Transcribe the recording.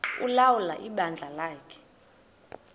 ulawula ibandla lakhe